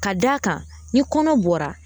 Ka d'a kan ni kɔnɔ bɔra